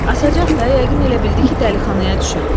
Asacaq da, yəqin elə bildi ki, dəlixanaya düşüb.